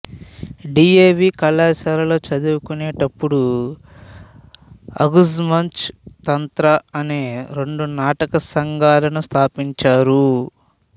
DAV కళాశాలలో చదువుకునేటప్పుడు ఆఘజ్ మంచ్ తంత్ర అనే రెండు నాటక సంఘాలను స్థాపించారు